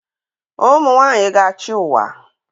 Ụmụ nwanyị ga-achị ụwa